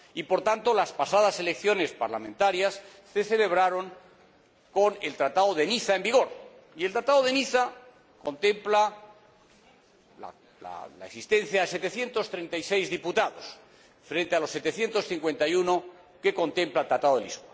Por tanto, las pasadas elecciones parlamentarias se celebraron con el Tratado de Niza en vigor, y el Tratado de Niza contempla la existencia de 736 diputados, frente a los 751 que contempla el Tratado de Lisboa.